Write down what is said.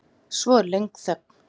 Svo er löng þögn.